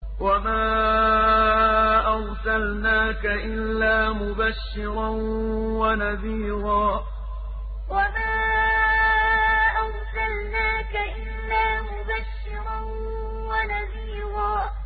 وَمَا أَرْسَلْنَاكَ إِلَّا مُبَشِّرًا وَنَذِيرًا وَمَا أَرْسَلْنَاكَ إِلَّا مُبَشِّرًا وَنَذِيرًا